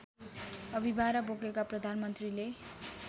अभिभारा बोकेका प्रधानमन्त्रीले